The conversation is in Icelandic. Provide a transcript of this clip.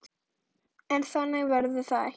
En þannig verður það ekki.